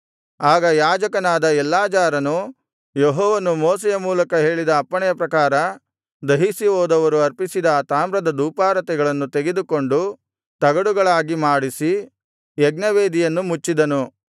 ಆಗ ಯಾಜಕನಾದ ಎಲ್ಲಾಜಾರನು ಯೆಹೋವನು ಮೋಶೆಯ ಮೂಲಕ ಹೇಳಿದ ಅಪ್ಪಣೆಯ ಪ್ರಕಾರ ದಹಿಸಿಹೋದವರು ಅರ್ಪಿಸಿದ ಆ ತಾಮ್ರದ ಧೂಪಾರತಿಗಳನ್ನು ತೆಗೆದುಕೊಂಡು ತಗಡುಗಳಾಗಿ ಮಾಡಿಸಿ ಯಜ್ಞವೇದಿಯನ್ನು ಮುಚ್ಚಿದನು